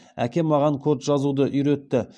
әкем маған код жазуды үйретті